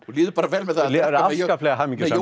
líður bara vel með það afskaplega hamingjusamur